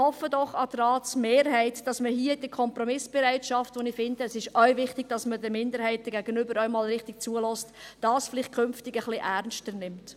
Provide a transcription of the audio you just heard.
An die Ratsmehrheit: Und ich hoffe doch, dass man hier die Kompromissbereitschaft – wie ich finde, ist es auch wichtig, dass man den Minderheiten auch mal richtig zuhört – künftig vielleicht ein bisschen ernster nimmt.